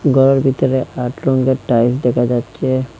ঘরের ভিতরে আট রঙ্গের টাইলস দেখা যাচ্ছে।